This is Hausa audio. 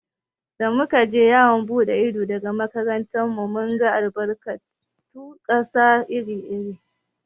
Da muka je yawon buɗe ido daga makarantar mu, mun ga albarkatun ƙasa iri iri.